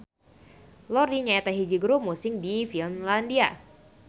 Lordi nyaeta hiji grup musik ti Finlandia.